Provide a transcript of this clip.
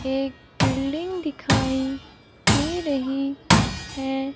एक बिल्डिंग दिखाई दे रही है।